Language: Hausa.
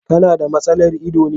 Ka na da matsalar ido ne.